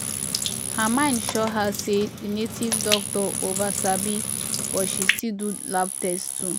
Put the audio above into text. her mind sure her say the native doctor over sabi but she still do lab test too